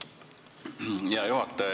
Hea juhataja!